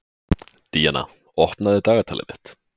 Díanna, opnaðu dagatalið mitt.